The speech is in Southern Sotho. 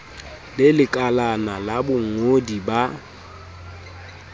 le lekalana la bongodi ba